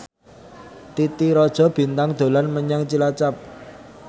Titi Rajo Bintang dolan menyang Cilacap